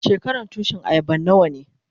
Shekaran Tushin ayaban nawa ne?